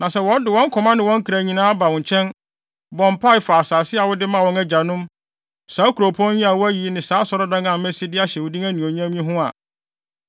na sɛ wɔde wɔn koma ne wɔn kra nyinaa ba wo nkyɛn, bɔ mpae fa asase a wode maa wɔn agyanom, saa kuropɔn yi a woayi ne saa asɔredan a masi de ahyɛ wo din anuonyam yi ho a,